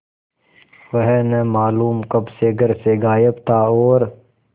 वह न मालूम कब से घर से गायब था और